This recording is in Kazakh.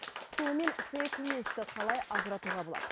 сонымен фэйк ньюсті қалай ажыратуға болады